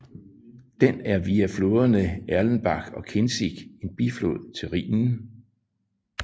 Den er via floderne Erlenbach og Kinzig en biflod til Rhinen